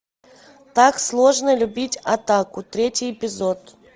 так сложно любить отаку третий эпизод